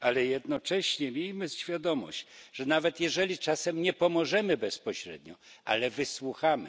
Jednocześnie miejmy świadomość, że nawet jeżeli czasem nie pomożemy bezpośrednio, to przynajmniej wysłuchamy.